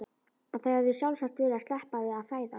Að þau hefðu sjálfsagt viljað sleppa við að fæðast.